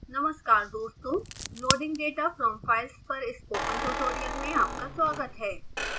नमस्कार दोस्तों loading data from files पर स्पोकन ट्यूटोरियल में आपका स्वागत है